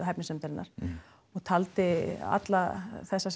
hæfnisnefndarinnar taldi alla þessa